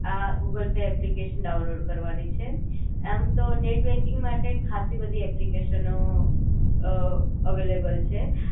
આ Google Pay application download કરવાની છે, આમ તો નેટ બૅન્કિંગ માટે ખાસી બધી એપ્લિકેશનો અ અવેલેબલ છે